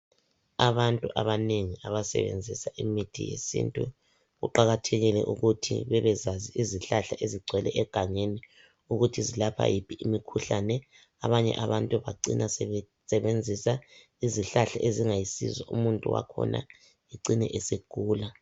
Abantu abanengi abasebenzisa imithi yesintu kuqakathekile ukuthi bebezazi izihlahla ezigcwele egangeni ukuthi zilapha yiphi imikhuhlane. Abanye abantu bacina sebenzisa izihlahla ezingayisiso umuntu wakhona acime esegula.